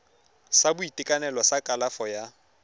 sa boitekanelo sa kalafo ya